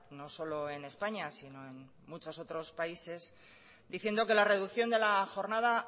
no solo en españa sino en muchos otros países diciendo que la reducción de la jornada